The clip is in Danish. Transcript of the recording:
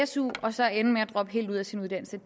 su og så ende med at droppe helt ud af sin uddannelse